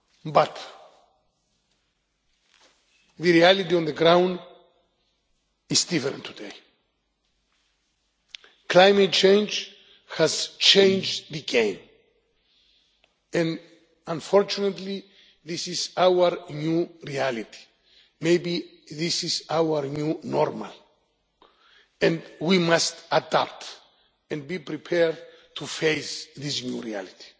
But the reality on the ground is different today. Climate change has changed the game, and unfortunately this is our new reality. Maybe this is our new normal and we must adapt and be prepared to face this new reality.